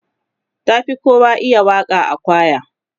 ta Fi kowa iya Waka a kwaya